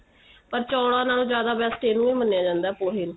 ਪਰ ਚੋਲਾ ਨਾਲੋ ਜਿਆਦਾ best ਇੰਨੁ ਈ ਮਾਨਿਆ ਜਾਂਦਾ ਪੋਹੇ ਨੂੰ